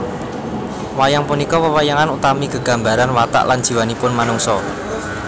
Wayang punika wewayangan utawi gegambaran watak lan jiwanipun manungsa